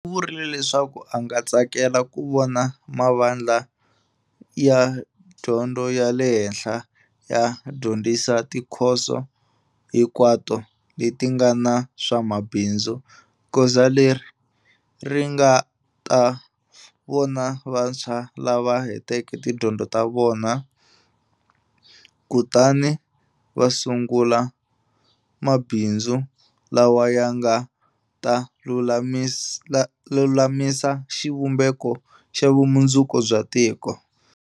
U vurile leswaku a nga tsakela ku vona mavandla ya dyondzo ya le henhla ya dyondzisa tikhoso hinkwato leti nga na swa mabindzu, goza leri nga ta vona vantshwa lava hetaka tidyondzo ta vona kutani va sungula mabindzu lawa ya nga ta lulamisa xivumbeko xa vumundzuku bya tiko.